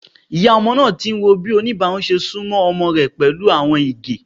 Iya ọmọ naa ti n wo bi onibarun ṣe sunmọ ọmọ rẹ pẹlu awọn ege.